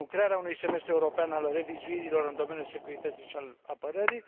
1. crearea unui semestru european al revizuirilor în domeniul securității și al apărării